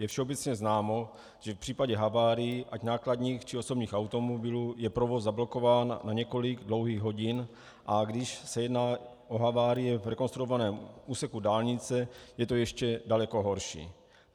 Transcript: Je všeobecně známo, že v případě havárií ať nákladních, či osobních automobilů je provoz zablokován na několik dlouhých hodin, a když se jedná o havárie v rekonstruovaném úseku dálnice, je to ještě daleko horší.